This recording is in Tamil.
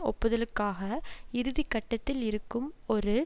ஒப்புதலுக்காக இறுதி கட்டத்தில் இருக்கும் ஒரு